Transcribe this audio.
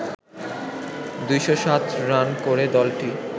২০৭ run করে দলটি